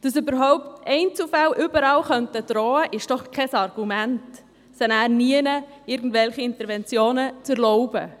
Dass überall Einzelfälle drohen könnten, ist kein Argument, keine Interventionen zu erlauben.